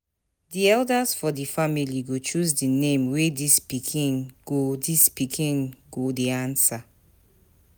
Di eldas for di family go choose di name wey dis pikin go dis pikin go dey answer.